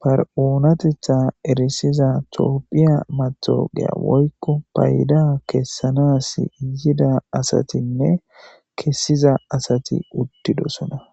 bar7oonatetha erisiza toopphiya matogeya woykko payda kessanas iyida asatinne kessiza asati uttidosona.